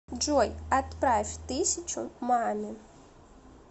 джой отправь тысячу маме